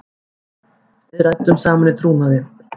Við ræddum saman í trúnaði.